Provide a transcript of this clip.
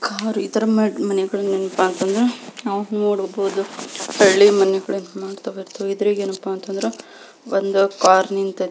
Car ಇತರ ಮನೆಗಳು ನೆನಪ್ ಅತ್ ಅಂದ್ರ ನಾವು ನೋಡಬಹುದು ಹಳ್ಳಿ ಮನೆಗಳು ಇದರಾಗೇನಪ್ಪಾ ಅಂತಂದ್ರ ಒಂದು ಕಾರ್ ನಿಂತೈತಿ.